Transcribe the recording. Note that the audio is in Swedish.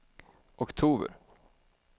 oktober